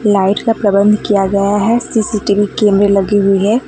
Light का प्रबंध किया हुआ है सी_सी_टी_वी कैमरे लगे हुई हैं।